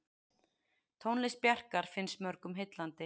Tónlist Bjarkar finnst mörgum heillandi.